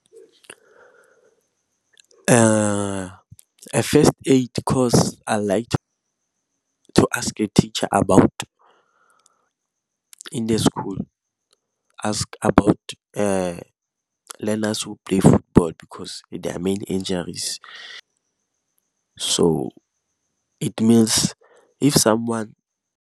First aid course I like to ask a teacher about in the school, ask about learners who play football because many injuries. So it means if someone .